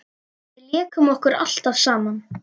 Við lékum okkur alltaf saman.